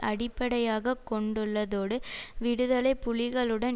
அடிப்படையாக கொண்டுள்ளதோடு விடுதலை புலிகளுடன்